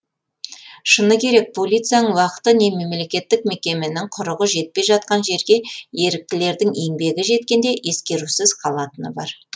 шыны керек полицияның уақыты не мемлекеттік мекеменің құрығы жетпей жатқан жерге еріктілердің еңбегі жеткенде ескерусіз қалатыны бар